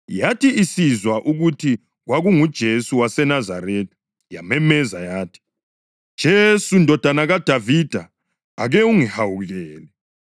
Yathi isizwa ukuthi kwakunguJesu waseNazaretha yamemeza yathi, “Jesu, Ndodana kaDavida, ake ungihawukele!”